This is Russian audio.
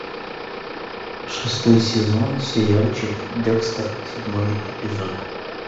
шестой сезон сериальчик декстер седьмой эпизод